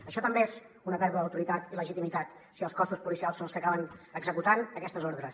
això també és una pèrdua d’autoritat i legitimitat si els cossos policials són els que acaben executant aquestes ordres